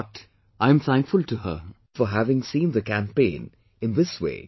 But, I am thankful to him for having seen the campaign in this way